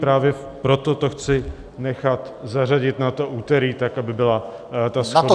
Právě proto to chci nechat zařadit na to úterý, tak aby byla ta shoda.